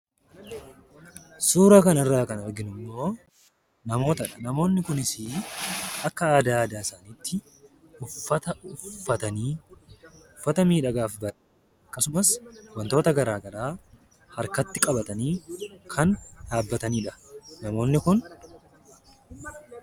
Suuraa kanarraa kan arginummoo namootadha. Namoonni kunis immoo akka aadaa aadaa isaaniitti uffata uffatanii uffata ofirratti wantoota garaagaraa of harkatti qabatanii kan dhaabbatanidha.